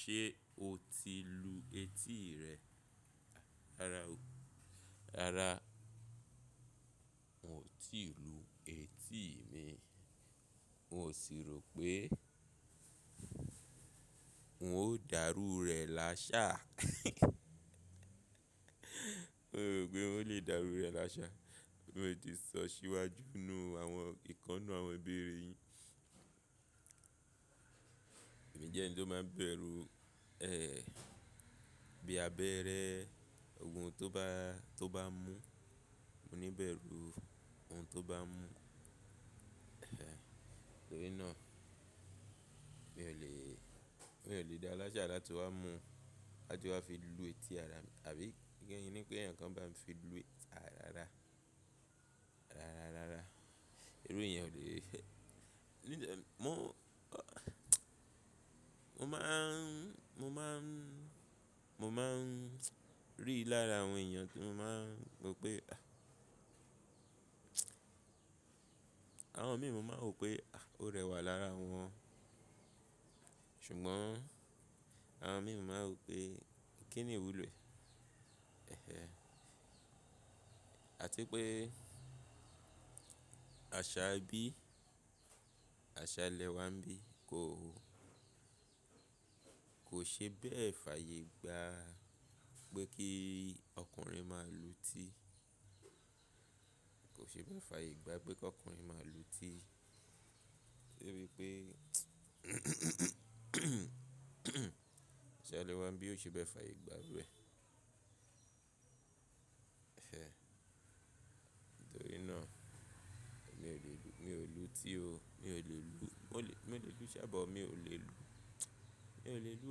Ṣé o ti lu etí rẹ? Rárá o, rárá n ò tí ì lu etí mi. N ò sì rò pé n ó dàrú rẹ̀ lásáà. N ò rò pé n ó lè dàrú rẹ̀ lásáà, mi ò lè sọ síwájú nínú àwọn ìkánú àwọn ibe re yín. Èmi jẹ́ ẹni tó máa ń bẹ̀rù, ẹ́ẹ́, bí abẹ́ẹ́rẹ́, ohun tó bá, tó bá mú, mo níbẹ̀rù ohun tó bá mú. Nítorínà mi ò lè, mi ò lè dá lásáà láti wá mu, láti wá fi lu etí ara mi, àbí kí ń ní pé ẹ̀yàn kan bá mi fi lu etí ara rárá. Rárá, rárá. Irú ìyẹn ò lè. Mo máa n, mo máa n, mo máa n rí i lára àwọn èyàn kí mo máa ro pé, àh. Àwọn míì mú má rò pé, ah, ó rẹwà lára wọn. Ṣùgbọ́n àwọn míì mú máa rò pé kí ni ìwúlò ẹ́ẹ́. Àti pé àṣà ẹbí, àṣà ilẹ̀ wa ńbí kò, kò ṣe bẹ́ẹ̀ fàyè gba pé kí ọkùnrin máa lu etí. Kò ṣe bẹ́ẹ̀ fàyè gba pé kí ọkùnrin máa lu etí. Torí pé àṣà ilẹ̀ wa ńbí kò ṣe bẹ́ẹ̀ fàyè gba bẹ́ẹ̀. Nítorínà mi ò lè lu, mi ò lu etí o, mi ò lè lu, mo lè, mi ò lè lu sábà o, mi ò lè lu, mi ò lè lu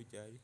òjáré.